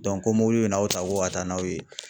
ko mobili bɛ n'aw ta ko ka taa n'aw ye.